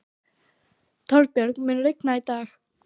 Torbjörg, mun rigna í dag?